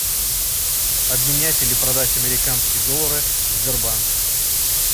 обменять или продать американские доллары в сбербанке